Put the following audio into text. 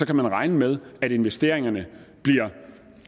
kan man regne med at investeringerne bliver